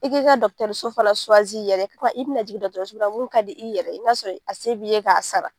I k'i ka dɔkitɛriso fana i yɛrɛ ye i bɛna jigin dɔkitɛriso la mun ka di i yɛrɛ ye n'a sɔrɔ a se b'i ye k'a sara.